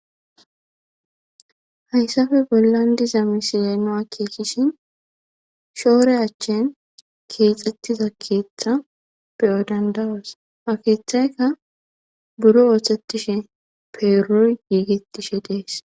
Hayssappe bollan diza misiya nu akeekishin shoore achchen keexxettiza keeththa be7o danda7os. Ha keeththayka buro ooththetishe peeroy giigettishe de7ees.